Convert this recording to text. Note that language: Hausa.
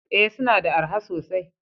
Ee, suna da araha sosai?